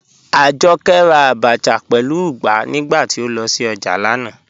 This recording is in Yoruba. Ajọkẹ́ rà àbàchà pẹ̀lú ùgbà nígbàtí o lọ sí ojá lánà.